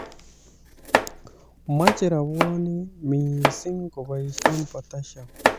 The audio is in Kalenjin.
Machei rabwonik missing koboisie potassium